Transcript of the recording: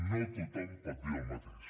no tothom pot dir el mateix